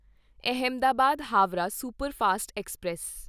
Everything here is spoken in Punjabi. Ahmedabad Howrah superfast express